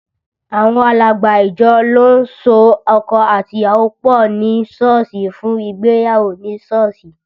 Àwọn alàgbà ìjọ ló ń so ọkọ àti ìyàwó pọ ní Sọ́ọ̀sì fún ìgbéyàwó ní Sọ́ọ̀sì